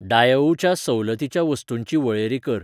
डायोउ च्या सवलतीच्या वस्तूंची वळेरी कर.